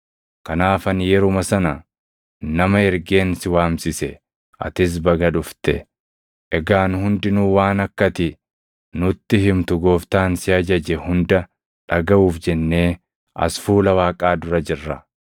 Kanaaf ani yeruma sana nama ergeen si waamsise; atis baga dhufte. Egaa nu hundinuu waan akka ati nutti himtu Gooftaan si ajaje hunda dhagaʼuuf jennee as fuula Waaqaa dura jirra.”